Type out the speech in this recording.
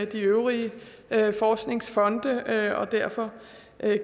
de øvrige forskningsfonde og derfor